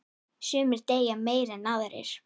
Sumir deyja meira en aðrir.